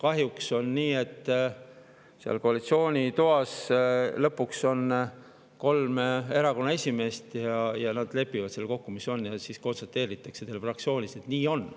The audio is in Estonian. Kahjuks on nii, et koalitsiooni toas on lõpuks kolm erakonnaesimeest ja nad lepivad seal kokku, kuidas on, ja siis konstateeritakse teile fraktsioonis, et nii on.